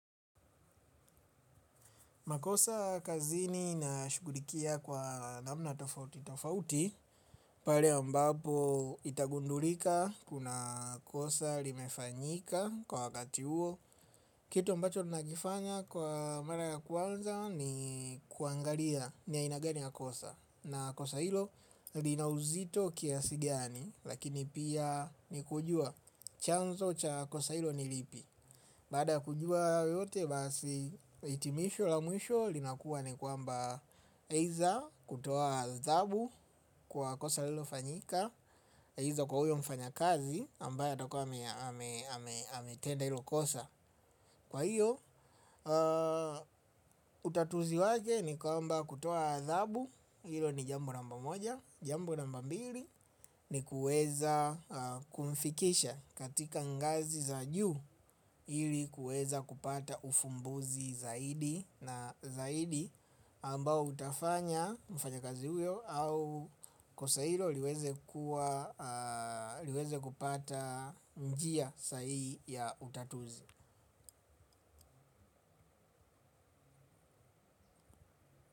Makosa kazini nashughulikia kwa namna tofauti tofauti, pale ambapo itagundulika kuna kosa limefanyika kwa wakati huo. Kitu ambacho nakifanya kwa mara ya kwanza ni kuangalia ni aina gani ya kosa na kosa hilo lina uzito kiasi gani lakini pia ni kujua chanzo cha kosa hilo ni lipi. Baada ya kujua hayo yote basi hitimisho la mwisho linakuwa ni kwamba either kutoa adhabu kwa kosa lilofanyika either kwa huyo mfanyakazi ambaye atakuwa ametenda hilo kosa kwa hiyo utatuzi wake ni kwamba kutoa adhabu hilo ni jambo namba moja. Jambo namba mbili ni kuweza kumfikisha katika ngazi za juu ili kueza kupata ufumbuzi zaidi na zaidi ambao utafanya mfanyikazi huyo au kosa hilo liweze kuwa, liweze kupata njia sahihi ya utatuzi.